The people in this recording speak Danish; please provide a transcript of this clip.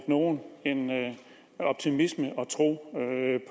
nogle en optimisme og tro